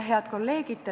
Head kolleegid!